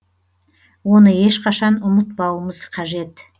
оны ешқашан ұмытпауымыз қажет